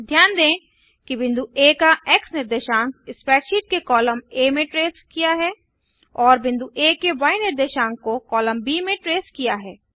ध्यान दें कि बिंदु आ का एक्स निर्देशांक स्प्रैडशीट के कॉलम आ में ट्रैस किया है और बिंदु आ के य निर्देशांक को कॉलम ब में ट्रैस किया है